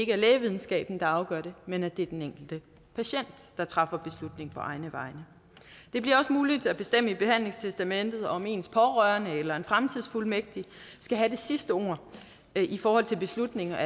er lægevidenskaben der afgør det men at det er den enkelte patient der træffer beslutning på egne vegne det bliver også muligt at bestemme i behandlingstestamentet om ens pårørende eller en fremtidsfuldmægtig skal have det sidste ord i forhold til beslutninger